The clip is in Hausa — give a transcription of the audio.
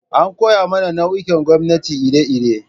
An koya mana nau'ikan gwamnati iri-iri.